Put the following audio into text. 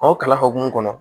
Aw kalan hokumu kɔnɔ